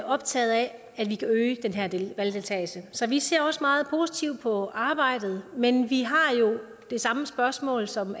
optaget af at vi kan øge valgdeltagelsen så vi ser også meget positivt på arbejdet men vi har det samme spørgsmål som